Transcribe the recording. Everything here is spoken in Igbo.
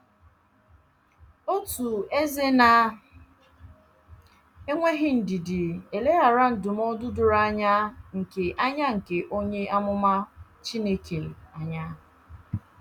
Otu eze na - enweghị ndidi eleghara ndụmọdụ doro anya nke anya nke onye amụma Chineke anya.